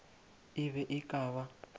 e be e ka ba